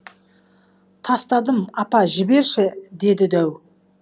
тастадым апа жіберші деді дәу